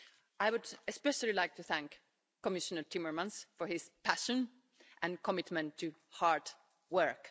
I would especially like to thank Commissioner Timmermans for his passion and commitment to hard work.